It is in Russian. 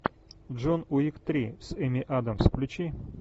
джон уик три с эми адамс включи